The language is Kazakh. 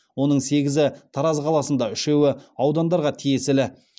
оның сегізі тараз қаласында үшеуі аудандарға тиесілі